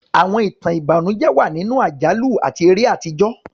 Àwọn ìtàn ìbànújẹ́ wà nínú àjálù àti eré àtijọ́.